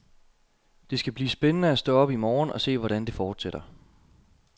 Det skal blive spændende at stå op i morgen og se, hvordan det fortsætter.